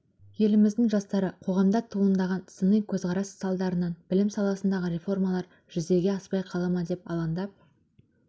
еліміздің жастары қоғамда туындаған сыни көзқарас салдарынан білім саласындағы реформалар жүзеге аспай қала ма деп алаңдап